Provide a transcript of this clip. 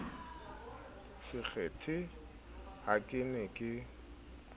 sekgethe ha ke ne ke